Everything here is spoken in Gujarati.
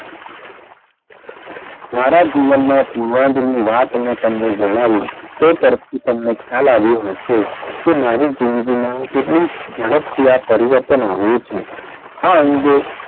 મારાં જીવનમાં પુર્વાદની વાત મેં તમને જણાવી તે તરફથી તમને ખ્યાલ આવ્યો હશે કે મારી જિંદગી માં કેટલી જડપથી આ પરિવર્તન આવ્યું છે. આ અંગે,